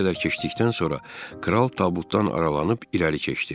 Bir qədər keçdikdən sonra kral tabutdan aralanıb irəli keçdi.